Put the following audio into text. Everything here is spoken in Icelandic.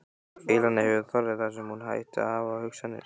Elena hefur þarfir þar sem hún ætti að hafa hugsanir.